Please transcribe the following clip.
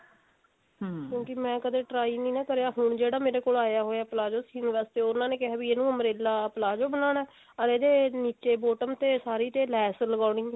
ਕਿਉਂਕਿ ਮੈਂ ਕਦੇ try ਨੀ ਨਾ ਕਰਿਆ ਹੁਣ ਜਿਹੜਾ ਮੇਰੇ ਕੋਲ ਆਇਆ ਹੋਇਆ palazzo ਸਿਉਣ ਵਾਸਤੇ ਉਹਨਾਂ ਨੇ ਕਿਹਾ ਵੀ ਇਹਨੂੰ umbrella palazzo ਬਣਾਉਣਾ ਅਰ ਇਹਦੇ ਨਿੱਚੇ bottom ਤੇ ਸਾਰੀ ਲੈਸ ਲਗਾਉਣੀ ਹੈ